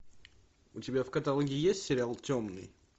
у тебя в каталоге есть сериал темный